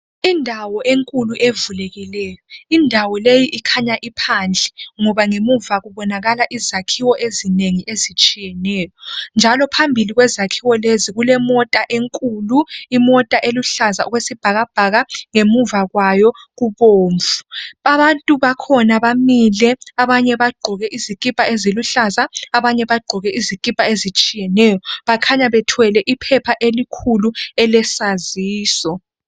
Indawo enkulu evulekileyo indawo leyi ikhanya iphandle ngoba ngemuva kubonakala izakhiwo ezinengi ezitshiyeneyo njalo phambili kwezakhiwo lezi kulemota enkulu imota eluhlaza okwesibhakabhaka ngemuva kwayo kubomvu abantu bakhona bamile abanye bagqoke izikipa eziluhlaza abanye bagqoke izikipa ezitshiyeneyo bakhanya bethwele iphepha elikhulu elesaziso.